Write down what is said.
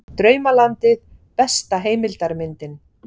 Draumalandið besta heimildarmyndin